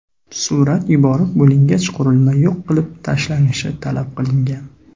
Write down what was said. Surat yuborib bo‘lingach, qurilmani yo‘q qilib tashlashni talab qilgan.